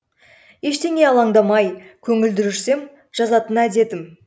ештеңеге алаңдамай көңілді жүрсем жазатын әдетім